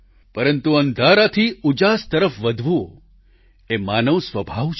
પરંતુ અંધારાથી ઉજાસ તરફ વધવું એ માનવ સ્વભાવ છે